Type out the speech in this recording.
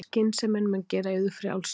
Skynsemin mun gera yður frjálsa.